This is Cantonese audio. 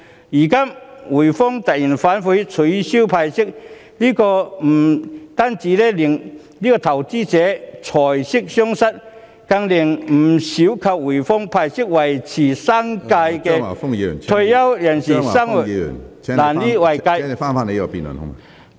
如今滙豐銀行突然反悔，取消派息，不單令投資者財息雙失，更令不少依靠滙豐銀行派息維持生計的退休人士生活無以為繼......